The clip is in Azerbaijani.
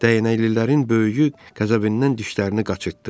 Dəyənəlilərin böyüyü qəzəbindən dişlərini qaçırtdı.